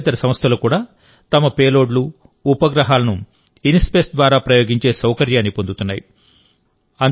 ప్రభుత్వేతర సంస్థలు కూడా తమ పేలోడ్లు ఉపగ్రహాలను ఇన్స్పేస్ ద్వారా ప్రయోగించే సౌకర్యాన్ని పొందుతున్నాయి